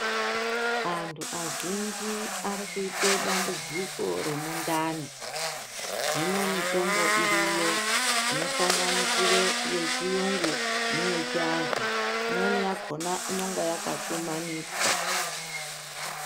Antu azhinji arikuita dambudziko remundani hino mitombo iriyo inosanganisira yechirungu neye chiandu imweni yakona inenge yakagumaniswa.